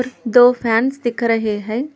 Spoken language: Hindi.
दो फैंस दिख रहे हैं।